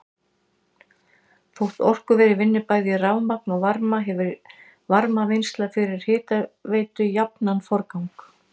Þótt orkuverið vinni bæði rafmagn og varma hefur varmavinnsla fyrir hitaveitu jafnan forgang.